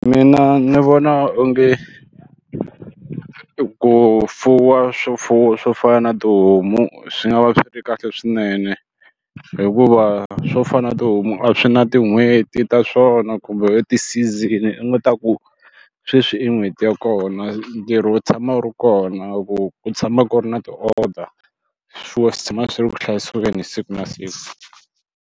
Mina ni vona onge ku fuwa swifuwo swo fana na tihomu swi nga va swi ri kahle swinene hikuva swo fana na tihomu a swi na tin'hweti ta swona kumbe u ti-season u nga ta ku sweswi i n'hweti ya kona ntirho wo tshama wu ri kona ku ku tshama ku ri na ti order swifuwo swi tshama swi ri ku hlayiseni siku na siku.